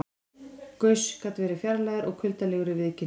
Gauss gat verið fjarlægur og kuldalegur í viðkynningu.